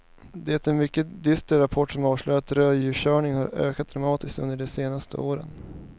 Det är en mycket dyster rapport som avslöjar att rödljuskörningarna har ökat dramatiskt under de senaste åren.